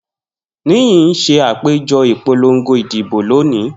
Niyi n ṣe apejọ ipolongo idibo loni.